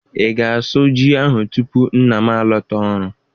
Ị ga-asu ji ahụ tupu nna m alọta ọrụ?